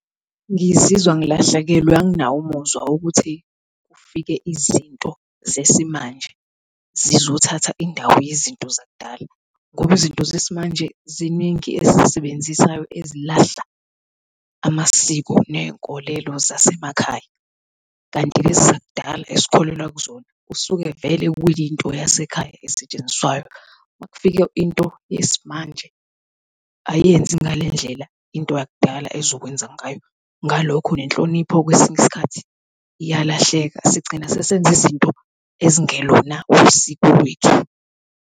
Ngizizwa ngilahlekelwe, anginawo umuzwa wokuthi kufike izinto zesimanje zizothatha indawo yezinto zakudala, ngoba izinto zesimanje ziningi esizisebenzisayo elahla amasiko ney'nkolelo zasemakhaya kanti lezi zakudala esikholelwa kuzona kusuke vele kuyinto yasekhaya esetshenziswayo. Uma kufike into yesimanje ayenzi ngalendlela into yakudala ezokwenza ngayo ngalokho nenhlonipho kwesinye isikhathi iyalahleka sigcina sesenza izinto ezingelona usiko lwethu.